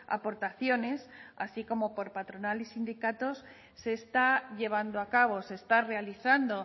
aportaciones así como por patronal y sindicatos se está llevando a cabo se está realizando